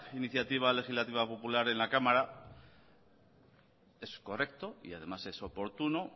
iniciativa legislativa popular en la cámara es correcto y además es oportuno